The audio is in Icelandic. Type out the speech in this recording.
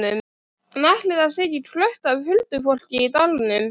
En ætli það sé ekki krökkt af huldufólki í dalnum?